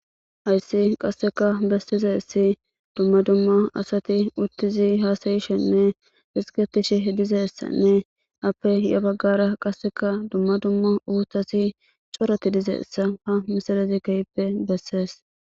Hayissi qasekka besizayissi dumma dumma asati uttidi usayishshenne ezigetishshe dizayissanne apple yaa bagara qasekka dumma dumma uththatti corati dizayissa ,haa misilezzi kehippe besses.